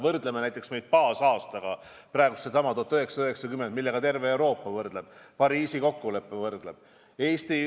Võrdleme praegust seisu näiteks baasaastaga 1990, millega terve Euroopa võrdleb, Pariisi kokkulepe võrdleb.